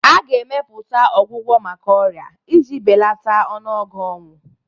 A ga-emepụta ọgwụgwọ maka ọrịa iji belata ọnụọgụ ọnwụ.